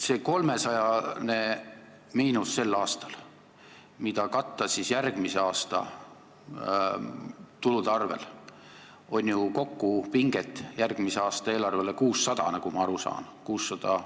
See 300 000 euro suurune miinus sel aastal, mida tahetakse katta järgmise aasta tulude arvel, tekitab ju kokku järgmise aasta eelarvele pinget 600 000 euro võrra, nagu ma aru saan.